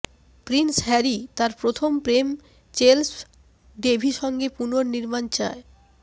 Prince Harry তার প্রথম প্রেম চেলস ডেভি সঙ্গে পুনর্নির্মাণ চায়